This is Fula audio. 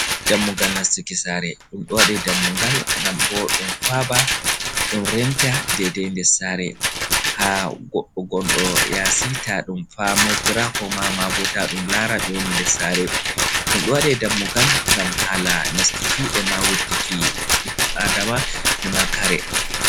Dammugal nastuki sare. Ɗum ɗo waɗe dammugal ngam bo ɗum faaba, ɗum renta dedei ndes sare ha gonɗo yaasi taa ɗum famootira koma ma bo ta ɗum laara ɓe woni ndes sare. Ɗum ɗo waɗe dammugal ngam hala nastuki, ema wurtiki Adama e ma kare.